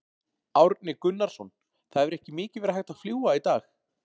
Árni Gunnarsson, það hefur ekki mikið verið hægt að fljúga í dag?